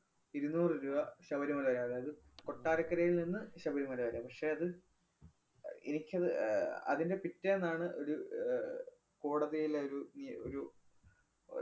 ഇരുനൂറു രൂപ ശബരിമലയില്‍. അതായത് കൊട്ടാരക്കരേല്‍ നിന്ന് ശബരിമല വരെ. പക്ഷേ അത് അഹ് എനിക്കത് ഏർ അതിന്‍റെ പിറ്റേന്നാണ് ഒരു ഏർ കോടതിയിലെ ഒരു മിയെ~ ഒരു